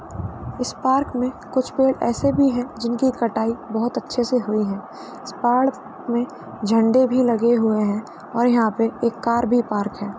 इस पार्क में कुछ पेड़ ऐसे भी हैं जिनकी कटाई बहुत अच्छे से हुई है। इस पार्क में झंडे भी लगे हुए हैं और यहाँ पे एक कार भी पार्क है।